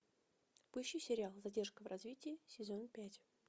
поищи сериал задержка в развитии сезон пять